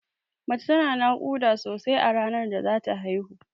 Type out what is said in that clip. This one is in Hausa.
Mace tana naƙuda sosai a ranar da zata haihu.